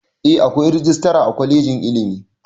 Eh akwai rajistara a kwalejin ilimi